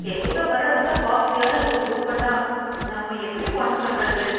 என் கூட வர்றவங்க காஸ்டலியான ரூம் புக் பண்ணா நம்ம எப்படி பணம் கட்டறது?